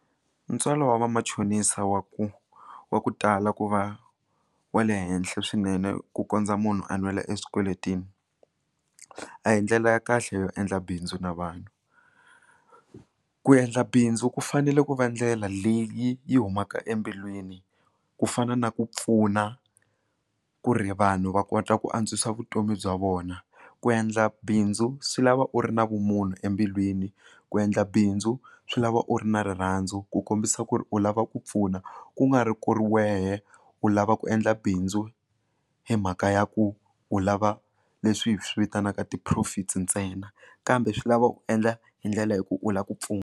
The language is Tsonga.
Ntswalo wa vamachonisa wa ku wa ku tala ku va wa le henhla swinene ku kondza munhu a nwela exikweleteni a hi ndlela ya kahle yo endla bindzu na vanhu ku endla bindzu ku fanele ku va ndlela leyi yi humaka embilwini ku fana na ku pfuna ku ri vanhu va kota ku antswisa vutomi bya vona ku endla bindzu swi lava u ri na vumunhu embilwini ku endla bindzu swi lava u ri na rirhandzu ku kombisa ku ri u lava ku pfuna kungari ku ri wehe u lava ku endla bindzu hi mhaka ya ku u lava leswi hi swi vitanaka ti profits ntsena kambe swi lava u endla hi ndlela yo ku u lava ku pfuna.